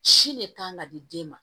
Si ne kan ka di den ma